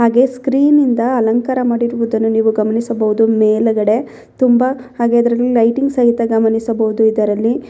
ಹಾಗೆ ಸ್ಕ್ರೀನ್ ಇಂದ ಅಲಂಕಾರ ಮಾಡಿರುವುದನ್ನು ನೀವು ಗಮನಿಸಬಹುದು ಮೇಲಗಡೆ ತುಂಬಾ ಹಾಗೆ ಇದರಲ್ಲಿ ಲೈಟಿಂಗ್ ಸಹಿತ ಗಮನಿಸಬಹುದು ಇದರಲ್ಲಿ.